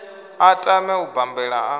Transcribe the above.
a tame u bambela a